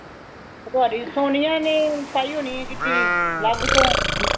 ਤੁਹਾਡੀ ਸੋਨੀਆਂ ਨੇ ਪਾਈ ਹੋਣੀ ਏ kitty ਅਲੱਗ ਤੋਂ